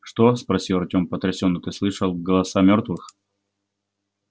что спросил артём потрясенно ты слышал голоса мёртвых